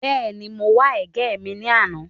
Bẹ́ẹ̀ni, mo wa ẹ̀gẹ́ mi ní àná